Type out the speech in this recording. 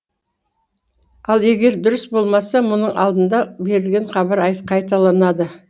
ал егер дұрыс болмаса мұның алдында берілген хабар қайталанады